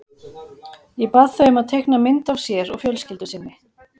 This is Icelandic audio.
Ég bað þau um að teikna mynd af sér og fjölskyldu sinni.